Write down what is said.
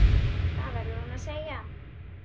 Það verður hún að segja.